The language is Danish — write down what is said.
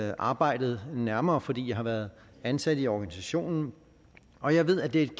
jo arbejdet nærmere fordi jeg har været ansat i organisationen og jeg ved at det er